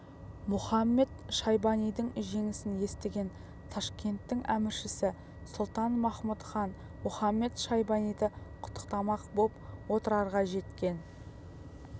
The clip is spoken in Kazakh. мұхамед-шайбанидың жеңісін естіген ташкенттің әміршісі сұлтан-махмұт хан мұхамед-шайбаниды құттықтамақ боп отырарға жеткен